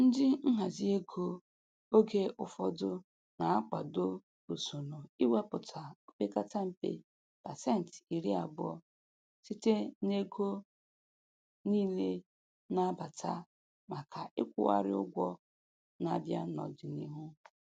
Ndị nhazi ego oge ụfọdụ na-akwado usoro iwepụta o pekata mpe pasenti iri abụọ site n'ego niile na-abata maka ịkwụgharị ụgwọ na-abịa n'ọdịniihu.